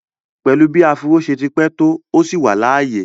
Pẹ̀lú bí áfúró ṣe ti pẹ́ tó, ó ṣì wà láàyè